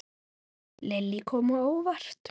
Lillý: Kom á óvart?